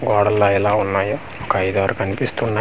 గోడల్ ల ఎలా ఉన్నాయో ఒక ఐదు ఆరు కనిపిస్తున్నాయ్.